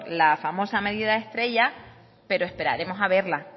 la famosa medida estrella pero esperaremos a verla